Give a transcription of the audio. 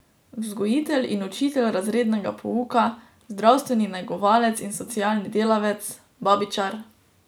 Vzgojitelj in učitelj razrednega pouka, zdravstveni negovalec in socialni delavec, babičar ...